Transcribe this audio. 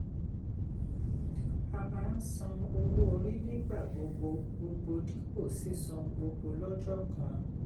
a máa ń san owó orí nígbà gbogbo gbogbo dípò sísan gbogbo lọ́jọ́ kan.